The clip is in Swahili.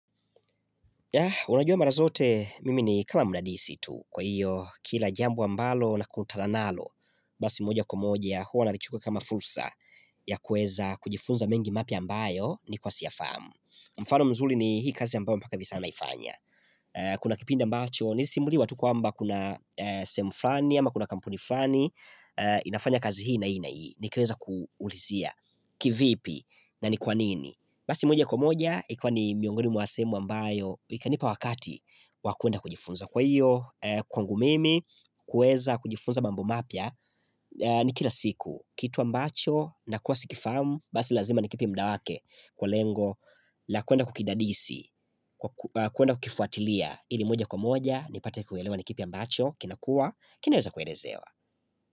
Ya unajua mara zote mimi ni kama mdadisi tu kwa hiyo kila jambo ambalo na kutananalo basi moja kwamoja huwa nalichukua kama fursa ya kuweza kujifunza mengi mapya ambayo nilikuwa siyafahamu. Mfano mzuri ni hii kazi ambayo mpaka hivisanaifanya. Kuna kipinda mbacho nilisimuliwa tu kwamba kuna sehemuflani ama kuna kampuniflani inafanya kazi hii na hii na ni kaweza kuulizia kivipi na ni kwanini. Basi moja kwa moja, ikiwa ni miongoni mwasehemu ambayo, ikanipa wakati wakwenda kujifunza kwaiyo, kwangu mimi, kuweza kujifunza mambo mapya, ni kila siku, kitu ambacho, na kuwa sikifahamu, basi lazima nikipe mda wake kwa lengo, la kwenda kukidadisi, kwenda kukifuatilia, ili moja kwa moja, nipate kuelewa nikipi ambacho, kinakua, kinaweza kuelezewa.